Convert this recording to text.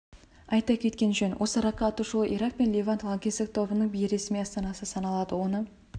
айта кеткен жөн осы ракка атышулы ирак пен левант лаңкестік тобының бейресми астанасы саналады оны